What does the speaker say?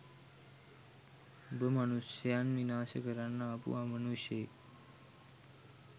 උඹ මනුෂ්‍යයන් විනාශ කරන්න ආපු අමනුෂ්‍යයෙක්